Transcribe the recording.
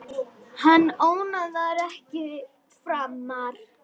Hann ónáðar þig ekki framar.